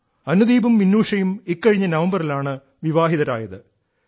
അനുദീപും മിന്നൂഷയും ഇക്കഴിഞ്ഞ നവംബറിലാണ് വിവാഹിതരായത്